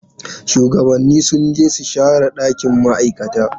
Shuwagabanni sun je su share dakin ma'aikata.